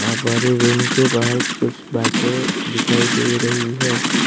वहा बाहरी रूम के बाहर कुछ बाइके दिखाई दे रही है।